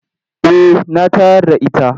Eh na tayar da its.